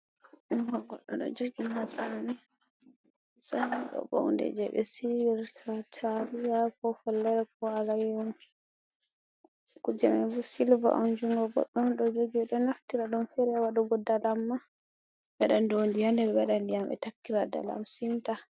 Junngo goɗɗo ɗo jogi "matsami", "matsami" ɗoo bo huunde jey ɓe siiwirta taaliya koo follere koo alayyaho. Kuuje may bo "silva" on. Juungo goɗɗo on ɗo jogi. Ɓe ɗo naftira ɗum feere ha waɗugo dalam maa, waɗa ndoondi haa nder ɓe waɗa ndiyam ɓe takkira dalam simta.